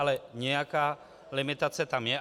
Ale nějaká limitace tam je.